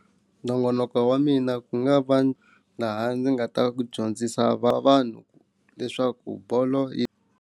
Nongonoko wa mina ku nga va laha ndzi nga ta ku dyondzisa va vanhu leswaku bolo yi.